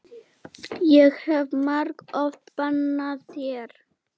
Ég hef margoft bannað þér.